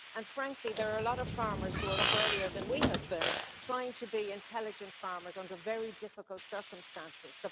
Frankly, there are a lot of farmers who were up earlier than we were, trying to be intelligent farmers under very difficult circumstances.